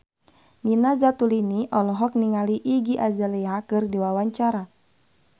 Nina Zatulini olohok ningali Iggy Azalea keur diwawancara